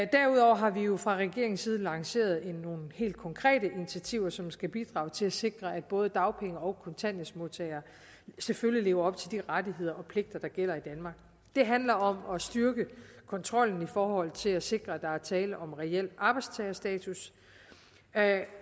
derudover har vi jo fra regeringens side lanceret nogle helt konkrete initiativer som skal bidrage til at sikre at både dagpenge og kontanthjælpsmodtagere selvfølgelig lever op til de rettigheder og pligter der gælder i danmark det handler om at styrke kontrollen i forhold til at sikre at der er tale om reel arbejdstagerstatus